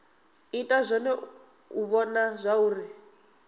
ita zwone u vhona zwauri